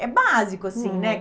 É básico assim, né? Uhum.